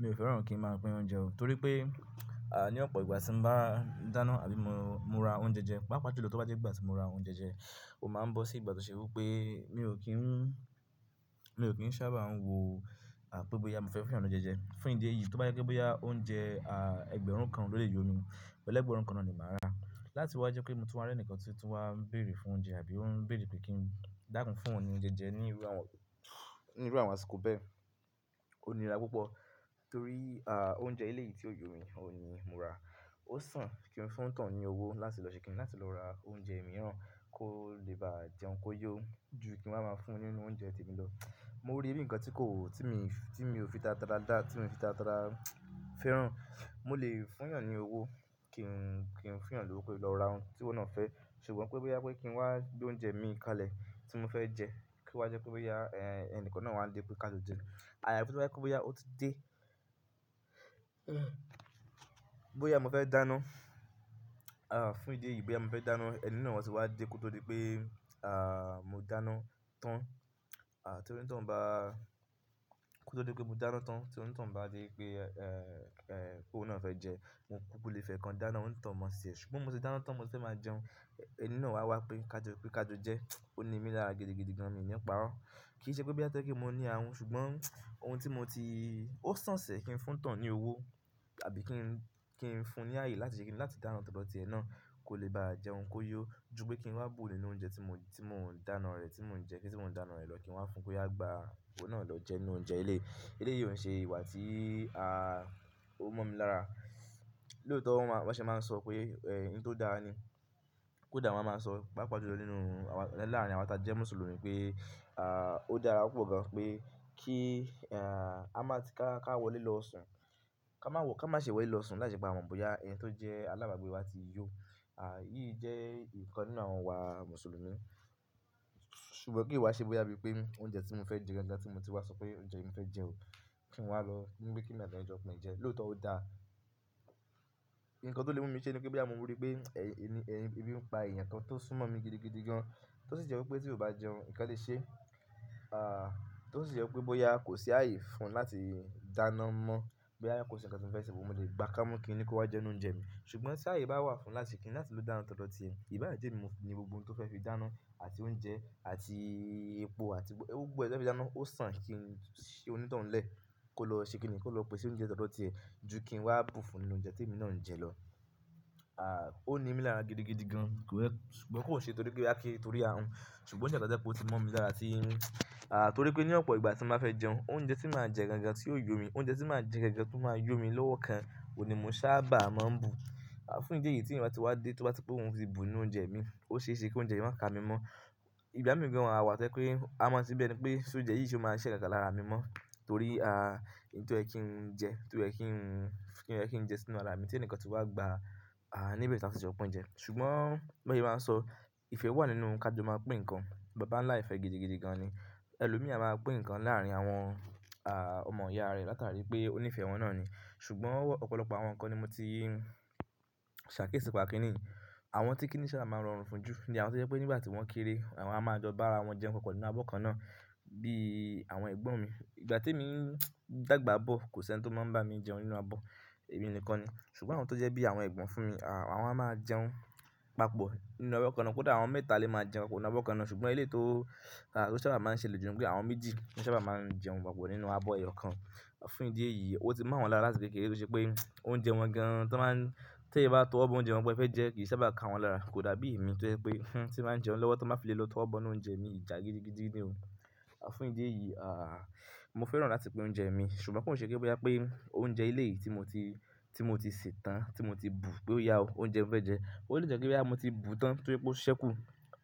Mi ò fẹ́ràn kí ń máa pín oúnjẹ o, torí pé, à, ní ọ̀pọ̀ ìgbà tí ń bá dáná àbí mo ra oúnjẹ jẹ, pàápàá ju lọ tó bá jẹ́ ìgbà tí mo ra oúnjẹ jẹ, ó máa ń bọ́ sí ìgbà tí ó ṣe wí pé mi ò kí ń, mi ò kí ń sábà ń wò, pé bóyá mo fẹ́ fún èeyàn ní oúnjẹ jẹ. Fún ìdí èyí, tó bá jẹ́ pé bóyá oúnjẹ, ẹgbẹ̀rún kan ló lè yó mi, ẹ́legbẹ̀rún kan náà ni màá rà. Láti wá jẹ́ pe mo tún wá rí ẹnìkan tí otú wá ń bèèrè fún oúnjẹ àbí ó ń bèèrè pé kí n dákún fún ọ́un ní oúnjẹ jẹ níru, níru àwọn àsìkò bẹ́ẹ̀ ò nírà púpọ̀. Torí, à, oúnjẹ eléyìí tí ó yó mi òhun ní mo rà. Ó sàn kí n fún oun tohun ní owó láti lọ ṣe kíni láti lọ ra oúnjẹ èmiràn kó lè bá jẹun kó yó ju kí n waa máa fún un nínú oúnjẹ tí èmi lọ. Mo rí bí ǹnkan tí kò, tí mi, tí mi ò fi táratara dá, tí mi ò fi táratara fẹ́ràn. Mo lè fún èèyàn ní owó kí ń, kí ń fún èèyàn lówó kó lo ra òhun ti oun náà fẹ́. Ṣùgbọ́n pé bóyá pé kí n wá gbé oúnjẹ mi kalẹ̀ tí mo fẹ́ jẹ, kí wá jẹ́ pé bóyá, ẹ, ẹnikan náà wán dé pé ká jo jẹ. Àyafi tí ó bá jẹ wí pé bóyá ó ti dé, bóyá mo fẹ́ dáná, fún ìdí èyí bóyá mo fẹ́ dáná, ẹni náà sì wá dé kótó dipé, mo dáná tán. À, tí onítohun bá, kí ó tó di wípé mo dáná tán, tí onítohun bá dé pé, óun náà fẹ́ jẹ, mo kúkú lè fi ekan dáná onítohun mọ́ ṣẹ̀. Ṣùgbọ́n mo ti dáná tán mo fẹ́ máa jẹun, ẹni náà wá wá pé ká jẹ, pé ká jo jẹ. Ó ní mí lára gidigidi gan, mi ò ní paro. Kì í ṣe pé bóyá tó jẹ pé mo ní àhùn, ṣùgbọ́n ohun tí mo ti, ó sàn ṣẹ̀ kí n fún onítohun ní owó àbí kí n, kí n fún ní ààyè láti ṣe kíni láti dáná tọ́dọ̀ ti ẹ náà kó lè bá jẹun kó yó ju pé kí n wá bu nínú oúnjẹ tí mo, tí mò ń dáná rẹ̀, tí mò ń jẹ, kí tí mò ń dáná rẹ̀ lọ kí n wá fún oyá gba iwo náà lọ jẹ nínú oúnjẹ eléyìí. Eléyìí ò ń ṣe ìwà tí ó mọ̀ mi lára. Lóòótọ́ wọ́n máa, wọ́n ṣé máa ń sọ pé, ẹ, ohun tó dáa ni, kódà wọ́n máa ń sọ pàápàá ju lọ nínú awa, láàárín àwa ta jẹ́ Mùsùlùmí pé, ó dára púpọ̀ gan pé kí, a máa ti ká, ká wọlé lọ sùn, ká má wọ̀, ká má ṣe wọlé lọ sùn lái ṣe pé a mọ̀ bóyá ẹni tó jẹ́ alábàágbé wa ti yó. À, èyí jẹ́ ìkan nínú àwọn ìwà Mùsùlùmí. Ṣùgbọ́n kí ó wá ṣe bóyá bí pé oúnjẹ tí mo fẹ́ jẹ niyen tí mo ti wá sọ pé oúnjẹ yi ni mo fẹ́ jẹ o kí n wá lọ, ní wípé kí èmi àti ẹni yẹn jo pín jẹ. Lóòótọ́ ó dá. Ǹnkan tó lè mú mi ṣe ni pé bóyá mo rí pé, ebi ń pa ẹ̀eyàn kan tó súnmọ́ mi gidigidi gan, tó sì jẹ́ wí pé tí kò bá jẹun ǹnkan lè ṣe, a, tó sì jẹ́ wí pé bóyá kò sí ààyè fún láti dáná mọ́, bóyá kò sí nǹkan tí mo fẹ́ ṣe, mo lè gba ká mú kí ni kó wá jẹ́ ni inú oúnjẹ mi. Ṣùgbọ́n tí ààyè bá wà fún láti kí ni láti lo dáná tọ́dọ̀ ti ẹ, ìbá jẹ́ èmi mo ní gbogbo ohun tí ó fẹ́ fi dáná àti oúnjẹ àti epo àti gbogbo ẹ tó fẹ́ fi dáná ó sàn kí n ṣi onítohun lẹ̀ kó lọ ṣe kíni kó lọ pèsè oúnjẹ tọ́dọ̀ ti ẹ ju kí n wá bu fún nínú oúnjẹ tí èmi náà ń jẹ lọ. À, ó ní mí lára gidigidi gan, kò wẹ́, ṣùgbọ́n kò n ṣe torí pé a kí n torí ààrùn. Ṣùgbọ́n ṣe àkọsẹ́ pé ó ti mọ̀ mí lára tí, a, torí pé ní ọ̀pọ̀ ìgbà tí mo máa fẹ́ jẹun, oúnjẹ tí màá jẹ gan gan tí yó mi, oúnjẹ tí màá jẹ gan gan tí ó máa yó mi lọ́wọ́ kan ò ní mo sáábà máa ń bu. A, fún ìdí èyí tí ẹ̀yin bá ti wá dé tó bá ti pé òun ti bu nínú oúnjẹ mi, ó ṣe é ṣe kí oúnjẹ yí máa ka mi mọ́. Ìgbà mí gan ma wà tó jẹ́ pé a mọ̀ se bí ẹni pé sé óúnjẹ yìí sì ó máa ń ṣiṣẹ́ káàkà lára mi mọ́ torí, a, ihun tó yẹ kí ń jẹ, tó yẹ kí ń, tó yẹ kí ń jẹ sínú ara mi tí ẹni kan tí wá gba, a, níbi tí a ti ṣe ọpọ́n ń jẹ. Ṣùgbọ́n bí wọ́n n se máa ń sọ ìfẹ́ wà nínú ká jọ máa pín ǹkan. Bàbá ńlá ìfẹ́ gidigidi gan ni. Ẹlòmí á máa pín ǹkan láàárín àwọn, a, ọmọ ìyá rẹ̀ látàrí pé ó nífẹ̀ẹ́ wọn náà ni. Ṣùgbọ́n ọ̀pọ̀lọpọ̀ àwọn ǹkan ni mo ti ṣàkíyèsí nípa kinní yìí. Àwọn tí kí n ṣá máa ń rọrùn fún ju ní àwọn tó jẹ́ pé nígbà tí wọ́n kéré, àwọn a máa jọ bá wọn jẹun papọ̀ nínú abọ́ kan náà bí àwọn ẹ̀gbọ́n mi. Ìgbà tí èmi n dàgbà bọ̀ kò sí ẹni tó máa ń bá mi jẹun nínú abọ́, èmi nìkan ni. Ṣùgbọ́n àwọn tó jẹ́ bí àwọn ẹ̀gbọ́n fún mi, a, àwọn a máa jẹun papọ̀ nínú abọ́ kan náà, kódà àwọn mẹ́ta lè máa jẹun nínú abọ́ kan náà. Ṣùgbọ́n ilé tó, a, tó sábà máa ń ṣe lè ju ní pé àwọn méjì ni sábà máa ń jẹun papọ̀ nínú abọ́ ẹyọ̀ kan. Fún ìdí èyí, ó ti mọ̀ àwọ́n lára láti kékeré tó ṣe pé oúnjẹ wọn gan an tí wọ́n máa ń, tí ẹ bá tọwọ́ bọ oúnjẹ wọn pé ẹ fẹ́ jẹ kì í sábà ká wọ́n lára. Kò dàbí èmi tó jẹ́ pé hun tí n bá jẹun lọ́wọ́ tí wọ́n bá fi lélò tọwọ́ bọ inú oúnjẹ mi, ìjà gidigidi nì o. A, fún ìdí èyí, a, mo fẹ́ràn láti pín oúnjẹ mi. Ṣùgbọ́n kò n ṣe pé bóyá pé oúnjẹ eléyìí tí mo ti, tí mo ti sè tán tí mo ti bù pé ó yá o, oúnjẹ mo fẹ́ jẹ. Ó lè jẹ́ kí wí pé mo ti bùú tán torí pé ó ṣẹ́kù,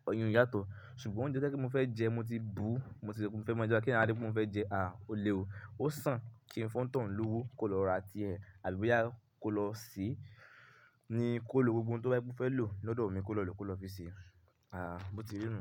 oyún yàtọ̀. Ṣùgbọ́n oúnjẹ tó jẹ́ pé mo fẹ́ jẹ mo ti bùú, mo ti fẹ́ ma jẹ́, kéyàn wá dé kó sọpé òun fẹ́ jẹẹ́, à ó le o, ó sàn kí n fún onítọ̀hún lówó kó lọ ra ti ẹ̀ àbí bóyá kó lọ sèé kó lo gbogbo ohun tó bá fẹ́ lo lọ́dọ́ mi.